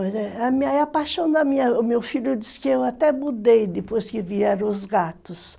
Aí a paixão da minha... O meu filho disse que eu até mudei depois que vieram os gatos.